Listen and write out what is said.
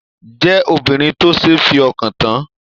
Jẹ obìnrin tó ṣe f'ọkan tán!